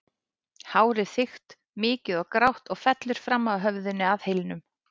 Hárið þykkt, mikið og grátt og fellur fram af höfðinu að hylnum.